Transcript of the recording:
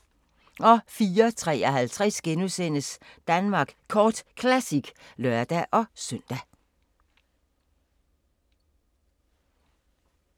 04:53: Danmark Kort Classic *(lør-søn)